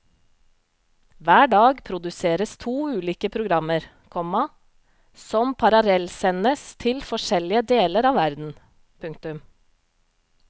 Hver dag produseres to ulike programmer, komma som parallellsendes til forskjellige deler av verden. punktum